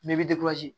Bɛɛ bɛ